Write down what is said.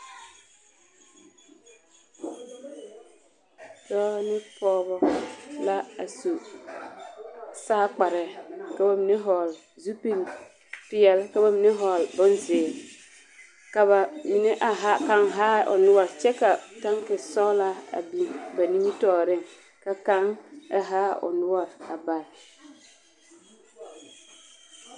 Dɔɔ ne pɔge la a su saa kparɛɛ ka ba mine hɔgle zupil-peɛl ka ba mine a ha kaŋ haa o noɔre kyɛ ka kaŋ taŋke sɔgelaa a biŋ ba nimitɔɔreŋ.